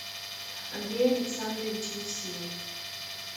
андрей александрович евсеев